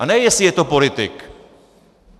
A ne jestli je to politik.